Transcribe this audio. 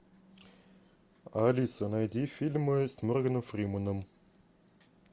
алиса найди фильмы с морганом фрименом